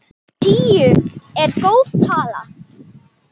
Tíu er góð tala.